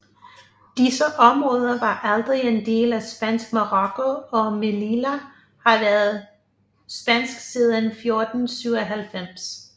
Disse områder var aldrig en del af Spansk Marokko og Melilla har været spansk siden 1497